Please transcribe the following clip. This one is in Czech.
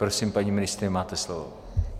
Prosím, paní ministryně, máte slovo.